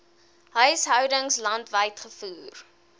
huishoudings landwyd gevoer